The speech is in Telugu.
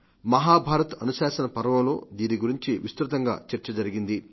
మహాభారత్ అనుశాసన పర్వంలో దీని గురించి విస్తృతంగా చర్చ జరిగింది